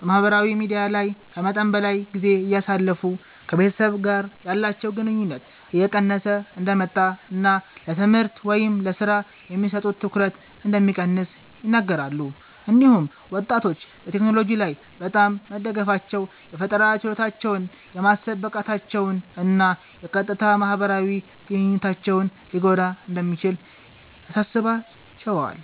በማህበራዊ ሚዲያ ላይ ከመጠን በላይ ጊዜ እንደሚያሳልፉ፣ ከቤተሰብ ጋር ያላቸው ግንኙነት እየቀነሰ እንደሚመጣ እና ለትምህርት ወይም ለሥራ የሚሰጡት ትኩረት እንደሚቀንስ ይናገራሉ። እንዲሁም ወጣቶች በቴክኖሎጂ ላይ በጣም መደገፋቸው የፈጠራ ችሎታቸውን፣ የማሰብ ብቃታቸውን እና የቀጥታ ማህበራዊ ግንኙነታቸውን ሊጎዳ እንደሚችል ያሳስባቸዋል።